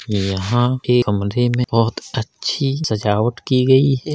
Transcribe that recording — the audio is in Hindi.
यहाँ के अमधि में बहोत अच्छी सजावट की गयी है।